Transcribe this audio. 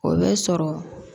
O bɛ sɔrɔ